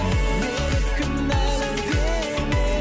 мені кінәлі деме